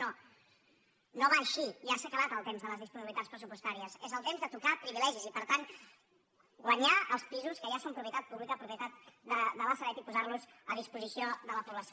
no no va així ja s’ha acabat el temps de les disponibilitats pressupostàries és el temps de tocar privilegis i per tant guanyar els pisos que ja són propietat pública propietat de la sareb i posar·los a disposició de la població